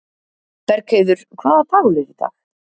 Bergheiður, hvaða dagur er í dag?